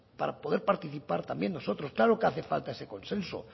para poder participar también nosotros claro que hace falta ese consenso